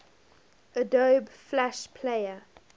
adobe flash player